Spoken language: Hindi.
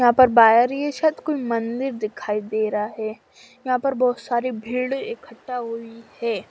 यहा पर बाहरी सायद कोई मंदिर दिखाई देरा है यहा पे बोत सारी भीड़ ईखटा होई है।